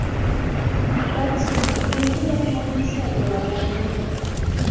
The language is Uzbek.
Datsun bunga yaqqol misol bo‘la oladi.